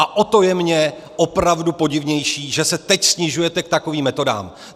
A o to je mi opravdu podivnější, že se teď snižujete k takovým metodám.